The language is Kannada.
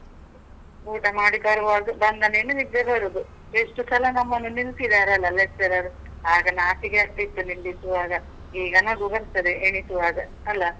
ಊಟ ಮಾಡಿ ಬರ್ವಾಗ. ಬಂದ ಮೇಲೆ ನಿದ್ದೆ ಬರುದು. ಎಷ್ಟು ಸಲ ನಮ್ಮನ್ನು ನಿಲ್ಸಿದಾರೆ ಅಲ lecturer . ಆಗ ನಾಚಿಕೆ ಆಗ್ತಿತ್ತು ನಿಲ್ಲಿಕ್ಕೂ ಆಗ, ಈಗ ನಗು ಬರ್ತದೆ ಎಣಿಸುವಾಗ ಅಲ?